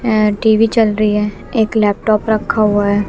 एह टी_वी चल रही है एक लैपटॉप रखा हुआ है।